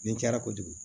Nin cayara kojugu